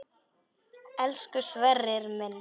Elsku Sverrir minn.